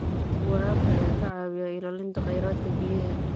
Waraabka ayaa ka caawiya ilaalinta kheyraadka biyaha.